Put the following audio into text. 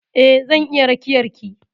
Eh zan iya rakiyar ki.